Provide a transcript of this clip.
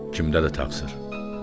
Kimdədir axı təqsir?